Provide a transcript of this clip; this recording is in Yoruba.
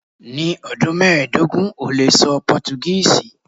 Ni ọdun mẹdogun o le sọ Portuguese